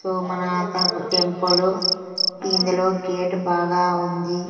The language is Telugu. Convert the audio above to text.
సో మన ఆతకు టెంపుల్ ఇందులో గేట్ బాగా ఉంది.